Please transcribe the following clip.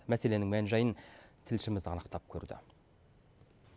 мәселенің мән жайын тілшіміз анықтап көрді